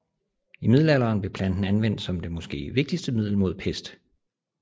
I middelalderen blev planten anvendt som det måske vigtigste middel mod pest